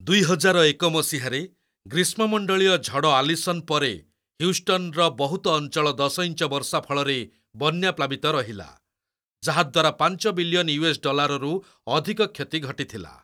ଦୁଇହଜାରଏକ ମସିହାରେ, ଗ୍ରୀଷ୍ମମଣ୍ଡଳୀୟ ଝଡ଼ ଆଲିସନ୍ ପରେ, ହ୍ୟୁଷ୍ଟନ୍‍ର ବହୁତ ଅଞ୍ଚଳ ଦଶ ଇଞ୍ଚ ବର୍ଷା ଫଳରେ ବନ୍ୟାପ୍ଲାବିତ ରହିଲା, ଯାହାଦ୍ୱାରା ପାଞ୍ଚ ବିଲିୟନ୍ ୟୁଏସ୍ ଡଲାର୍‍ରୁ ଅଧିକ କ୍ଷତି ଘଟିଥିଲା।